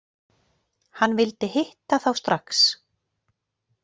Hann vildi hitta þá strax.